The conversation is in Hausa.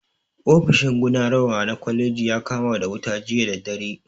Ofishin gudanarwa na kwalejin ya kama da wuta jiya da dare